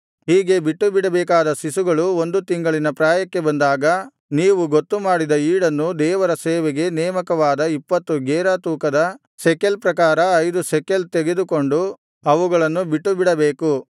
ಹೀಗೆ ಬಿಟ್ಟುಬಿಡಬೇಕಾದ ಶಿಶುಗಳು ಒಂದು ತಿಂಗಳಿನ ಪ್ರಾಯಕ್ಕೆ ಬಂದಾಗ ನೀವು ಗೊತ್ತು ಮಾಡಿದ ಈಡನ್ನು ದೇವರ ಸೇವೆಗೆ ನೇಮಕವಾದ ಇಪ್ಪತ್ತು ಗೇರಾ ತೂಕದ ಶೆಕೆಲ್ ಪ್ರಕಾರ ಐದು ಶೆಕೆಲ್ ತೆಗೆದುಕೊಂಡು ಅವುಗಳನ್ನು ಬಿಟ್ಟುಬಿಡಬೇಕು